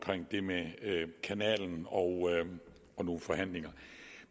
det med kanalen og nogle forhandlinger